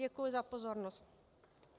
Děkuji za pozornost.